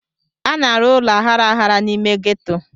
A na-arụ ụlọ aghara aghara n'ime ghetto.